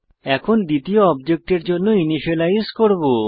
এখন দ্বিতীয় অবজেক্টের জন্য ইনিসিয়েলাইজ করব